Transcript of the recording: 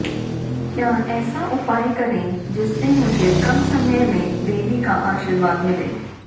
क्या ऐसा उपाय करें जिससे मुझे कम समय में देवी का आशीर्वाद मिले